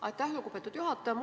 Aitäh, lugupeetud juhataja!